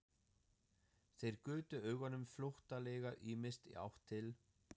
Þeir gutu augunum flóttalega ýmist í átt til